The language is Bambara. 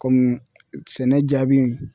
Komi sɛnɛ jaabi